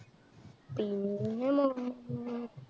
പിന്നെ മം